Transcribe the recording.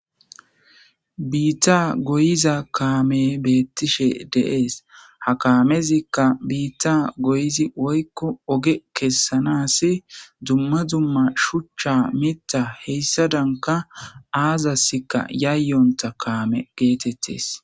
Biitta goyiza kaame beettishe deees ha kaamezikka biitta goyizi woykko oge kessanasi dumma dumma shuchcha mitta heyssa danka aazassikka yayyonta kaame geetettes.